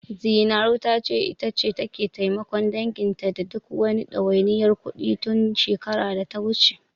Zinaru ta ce, ita take taimakon danginta da duk wani ɗawainiyar kuɗi, tun shekarar data wuce.